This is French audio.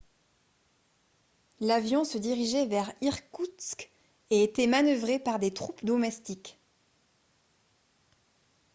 l'avion se dirigeait vers irkoutsk et était manœuvré par des troupes domestiques